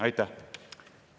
Aitäh!